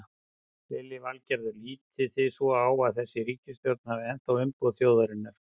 Lillý Valgerður: Lítið þið svo á að þessi ríkisstjórn hafi ennþá umboð þjóðarinnar?